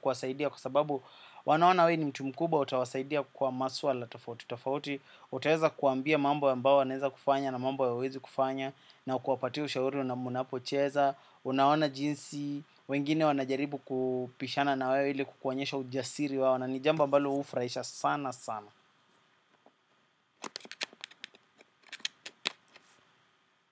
kuwasaidia. Kwa sababu wanaona wewe ni mtu mkubwa utawasaidia kwa maswala, tofauti tofauti. Utaweza kuambia mambo ambao wanaweza kufanya na mambo hawawezi kufanya na kuwapatia ushauri mnapocheza, unaona jinsi, wengine wanajaribu kupishana na wewe ili kukuonyesha ujasiri wao na ni jamba ambalo hufuraisha sana sana.